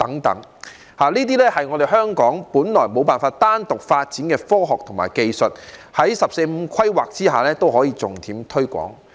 這些都是香港本來無法單獨發展的科學和技術，但在《十四五規劃綱要》下，仍可重點推廣。